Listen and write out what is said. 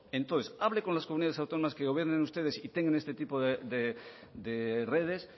entonces hable con las comunidades autónomas que gobiernen ustedes y tengan este tipo de redes